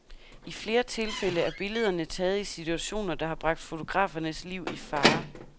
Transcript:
I flere tilfælde er billederne taget i situationer, der har bragt fotografernes liv i fare.